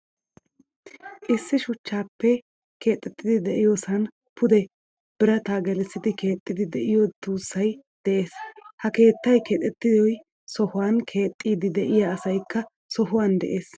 Issi shuchchappe keexxidi de'iyosan pude biratta gelissidi keexxidi de'iyo tuussay de'ees. Ha keettay keexettiyo sohuwan keexxidi de'iya asaykka sohuwan de'ees.